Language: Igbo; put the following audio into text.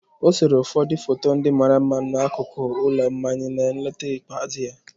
O sere ụfọdụ foto ndị mara mma n'akụkụ ụlọ mmanya na nleta ikpeazụ ya.